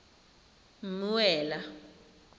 mmuela